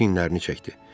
Çiyinlərini çəkdi.